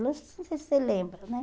Não sei se você lembra, né?